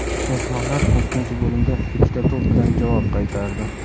Mehmonlar ikkinchi bo‘limda ikkita to‘p bilan javob qaytardi.